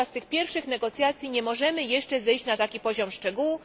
Podczas tych pierwszych negocjacji nie możemy jeszcze zejść na taki poziom szczegółu.